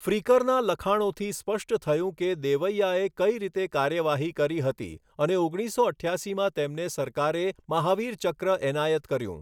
ફ્રિકરના લખાણોથી સ્પષ્ટ થયું કે દેવૈઆએ કઈ રીતે કાર્યવાહી કરી હતી અને ઓગણીસો અઠ્યાસીમાં તેમને સરકારે મહાવીર ચક્ર એનાયત કર્યું.